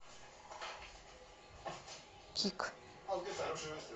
кик